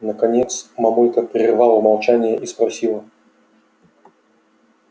наконец мамулька прервала молчание и спросила